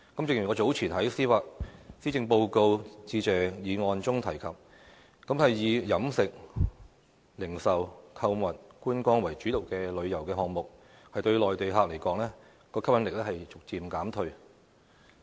正如我早前在施政報告致謝議案辯論中提及，以飲食、零售、購物、觀光為主導的旅遊項目，對內地客而言，吸引力已逐漸減退。